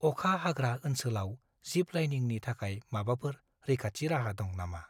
अखा हाग्रा ओनसोलाव जिप-लाइनिंनि थाखाय माबाफोर रैखाथि राहा दं नामा?